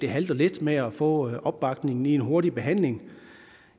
halter lidt med at få opbakningen til en hurtig behandling